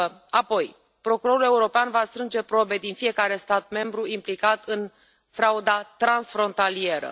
Apoi, procurorul european va strânge probe din fiecare stat membru implicat în frauda transfrontalieră.